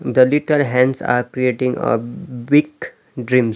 The liter hands are creating a-b- big dreams .